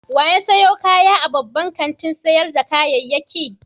Wa ya sayo kaya a babban kantin sayar da kayayyaki?